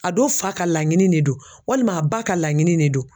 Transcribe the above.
A do fa ka laɲini ne don walima a ba ka laɲini ne don